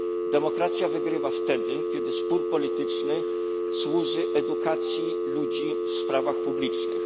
Demokracja wygrywa wtedy, kiedy spór polityczny służy edukacji ludzi w sprawach publicznych.